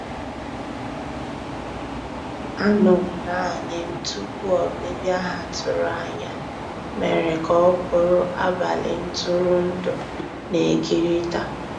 Ànọ́ m naanì m tupu ọ́bị̀bị̀a ha tụ̀rù ànyá mèrè kà ọ́ bụ́rụ́ àbálị́ ntụ̀rụ̀ndụ́ na-èkérị̀ta.